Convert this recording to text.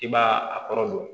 I b'a a kɔrɔ don